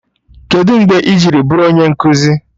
Kedụ mgbe i ji bụrụ onye nkụzi?